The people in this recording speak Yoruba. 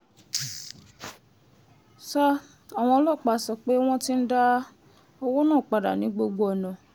sa àwọn ọlọ́pàá sọ pé wọ́n ti ń dá owó náà padà ní gbogbo ọ̀nà